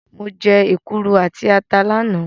Mo jẹ́ èkuru àti ata lánàá.